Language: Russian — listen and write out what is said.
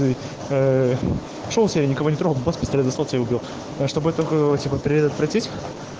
что у тебя никого не трогал чтобы это было типа предотвратить